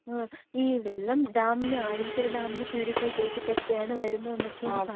ഈ വെള്ളം ഡാമില് അരുവിക്കര ഡാമില് പ്യൂരിഫൈ ചെയ്തിട്ടെക്കെയാണ് വരുന്നതെന്നക്കെയാണ് പറയുന്നതെങ്കിലും